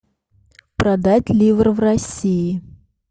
продать ливры в россии